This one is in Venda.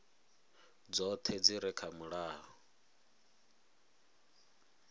dzoṱhe dzi re kha mulayo